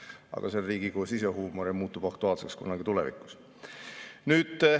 Aga see on Riigikogu sisehuumor ja muutub aktuaalseks kunagi tulevikus.